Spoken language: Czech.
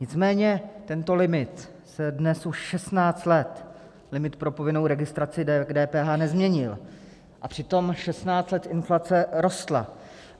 Nicméně tento limit se dnes už 16 let, limit pro povinnou registraci k DPH, nezměnil, a přitom 16 let inflace rostla.